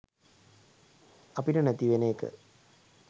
අපිට නැති වෙන එක.